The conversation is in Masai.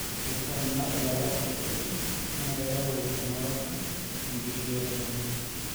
keitaa ena ilaras kutitik, naa keyau eng'oroto te nkishui oltungani